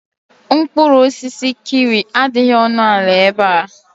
Mkpụrụ osisi kiwi adịghị ọnụ ala ebe a.